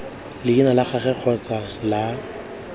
leina la gagwe kgotsa la